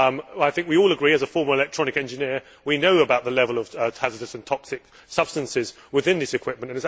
I think we all agree and, as a former electronic engineer, I know about the level of hazardous and toxic substances within this equipment.